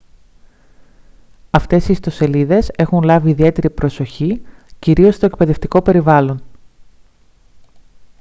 αυτές οι ιστοσελίδες έχουν λάβει ιδιαίτερη προσοχή κυρίως στο εκπαιδευτικό περιβάλλον